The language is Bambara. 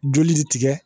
Joli de tigɛ